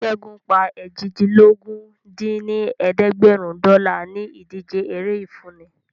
Ṣẹ́gun pa eéjìdínlógún dín ní ẹ̀ẹ́dẹ́gbẹ́rún dọ́là ní ìdíje eré ìfúnni